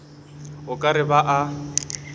o ka re ba a